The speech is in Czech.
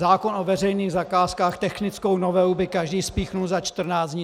Zákon o veřejných zakázkách, technickou novelu by každý spíchnul za 14 dní!